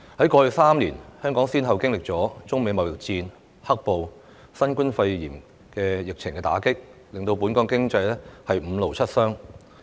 在過去3年，香港先後經歷了中美貿易戰、"黑暴"及新冠肺炎疫情的打擊，令本港經濟"五勞七傷"。